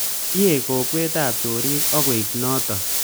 Kiek kokwetab chorik ak koek notok